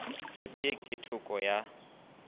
sep ye ke theko ya